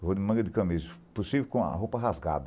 Eu vou em manga de camisa, possível com a roupa rasgada.